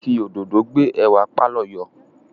O lè fi òdòdó gbé ẹwà pàlọ́ yọ